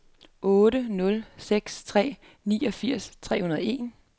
otte nul seks tre niogfirs tre hundrede og en